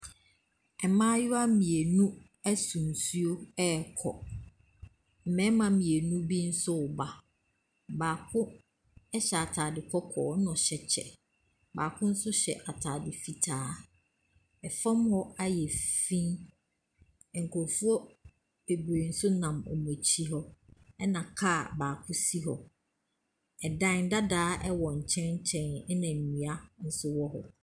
Mmaayewa mmienu so nsuo rekɔ. Mmarima mmienu bi nso reba. Baako hyɛ atade kɔkɔɔ, ɛna ɔhyɛ kyɛ. Baako nso hyɛ atade fitaa. Fam hɔ ayɛ ff fi. Nkurɔfoɔ bebre nso nam wɔn akyi hɔ, ɛna car baako si hɔ. Ɛdn dada wɔ nkyɛnkyɛn na nnua nso wɔ hɔ.